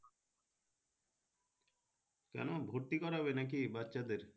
কেন ভর্তি করাবে নাকি বাচ্চাদের?